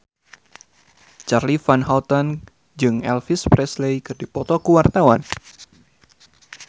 Charly Van Houten jeung Elvis Presley keur dipoto ku wartawan